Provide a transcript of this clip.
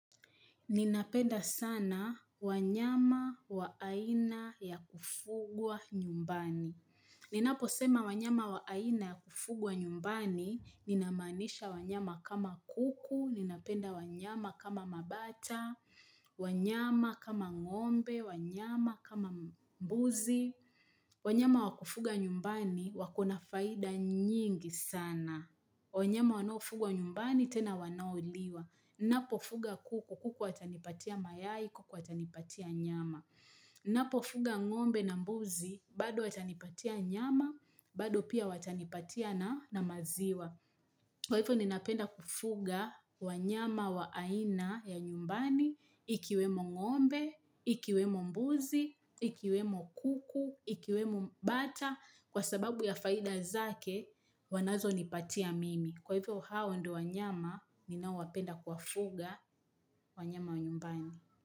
Ninapenda sana wanyama wa aina ya kufugwa nyumbani. Ninapo sema wanyama wa aina ya kufugwa nyumbani, ninamanisha wanyama kama kuku, ninapenda wanyama kama mabata, wanyama kama ngombe, wanyama kama mbuzi. Wanyama wa kufuga nyumbani, wakona faida nyingi sana. Wanyama wanaofugwa nyumbani, tena wanaoliwa. Ninapofuga kuku, kuku atanipatia mayai, kuku atanipatia nyama. Ninapofuga ngombe na mbuzi, bado watanipatia nyama, bado pia watanipatia na maziwa. Kwa hivyo ninapenda kufuga wanyama wa aina ya nyumbani, ikiwemo ngombe, ikiwemo mbuzi, ikiwemo kuku, ikiwemo bata, kwa sababu ya faida zake wanazo nipatia mimi. Kwa hivyo hao ndio wanyama ninaowapenda kuwafuga wanyama wa nyumbani.